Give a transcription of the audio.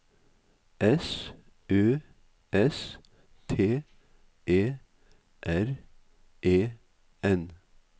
S Ø S T E R E N